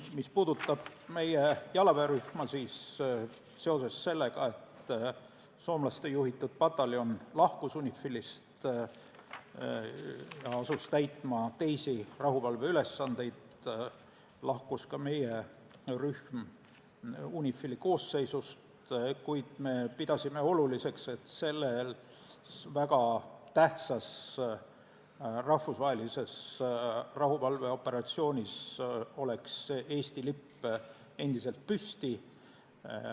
Mis puudutab meie jalaväerühma, siis seoses sellega, et soomlaste juhitud pataljon lahkus UNIFIL-ist ja asus täitma teisi rahuvalveülesandeid, lahkus ka meie rühm UNIFIL-i koosseisust, kuid me pidasime oluliseks, et selles väga tähtsas rahvusvahelises rahuvalveoperatsioonis oleks Eesti lipp endiselt püsti.